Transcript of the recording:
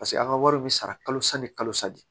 Paseke an ka wari bɛ sara kalo san ni kalo sa de